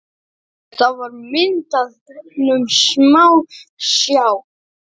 Það var myndað gegnum smásjá.